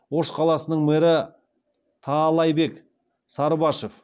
ош қаласының мэрі таалайбек сарыбашев